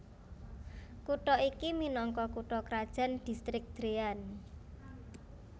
Kutha iki minangka kutha krajan Distrik Dréan